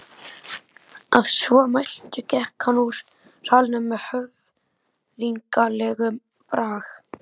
Að svo mæltu gekk hann úr salnum með höfðinglegum brag.